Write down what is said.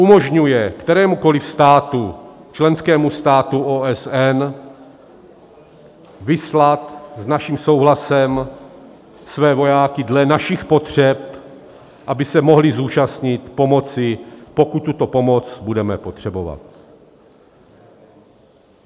Umožňuje kterémukoliv státu, členskému státu, OSN vyslat s naším souhlasem své vojáky dle našich potřeb, aby se mohli zúčastnit pomoci, pokud tuto pomoc budeme potřebovat.